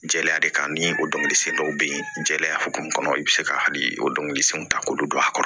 Jɛya de kan ni o dɔnkilisen dɔw be yen jɛya hokumu kɔnɔ i be se ka hali o dɔnkilisenw ta k'olu don a kɔrɔ